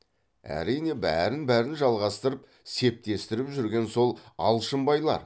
әрине бәрін бәрін жалғастырып септестіріп жүрген сол алшынбайлар